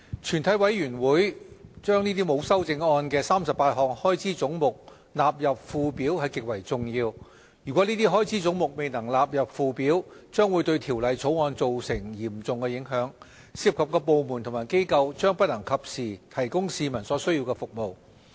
全體委員會將沒有修正案的38項開支總目納入附表是極為重要的，如果這些開支總目未能納入附表，將會對《2018年撥款條例草案》造成嚴重影響，涉及的部門和機構將不能及時提供市民所需要的服務。